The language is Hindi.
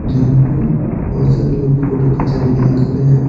जहाँ पे बहुत सारे लोग फोटो खींचने के लिए खड़े हैं।